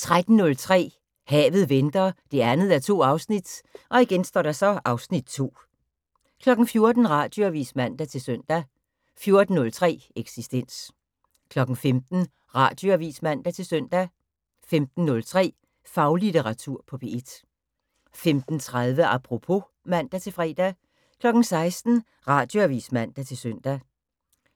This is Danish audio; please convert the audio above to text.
13:03: Havet venter 2:2 (Afs. 2) 14:00: Radioavis (man-søn) 14:03: Eksistens 15:00: Radioavis (man-søn) 15:03: Faglitteratur på P1 15:30: Apropos (man-fre) 16:00: Radioavis (man-søn)